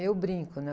Eu brinco, né?